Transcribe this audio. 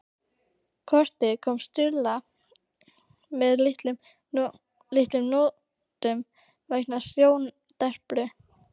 Kortið kom Stulla að litlum notum vegna sjóndepru.